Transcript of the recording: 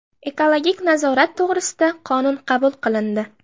Ekologik nazorat to‘g‘risida qonun qabul qilindi.